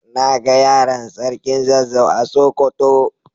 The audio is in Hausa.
Na ga yaron sarkin zazzau a sokoto.